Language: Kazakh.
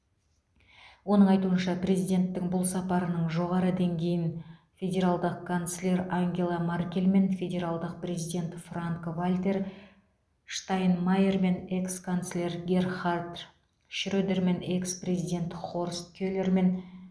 оның айтуынша президенттің бұл сапарының жоғары деңгейін федералдық канцлер ангела маркельмен федералдық президент франк вальтер штайнмайермен экс канцлер герхард шредермен экс президент хорст келермен